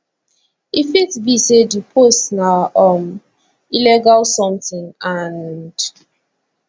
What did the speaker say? e fit be say di post na um illegal something and